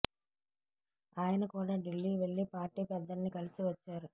ఆయన కూడా ఢిల్లీ వెళ్లి పార్టీ పెద్దల్ని కలిసి వచ్చారు